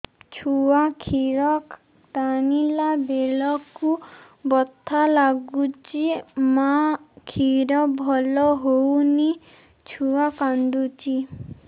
ଛୁଆ ଖିର ଟାଣିଲା ବେଳକୁ ବଥା ଲାଗୁଚି ମା ଖିର ଭଲ ହଉନି ଛୁଆ କାନ୍ଦୁଚି